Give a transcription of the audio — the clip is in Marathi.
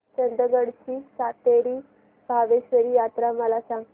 चंदगड ची सातेरी भावेश्वरी यात्रा मला सांग